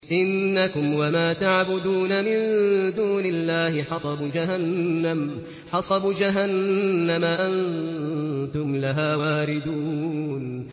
إِنَّكُمْ وَمَا تَعْبُدُونَ مِن دُونِ اللَّهِ حَصَبُ جَهَنَّمَ أَنتُمْ لَهَا وَارِدُونَ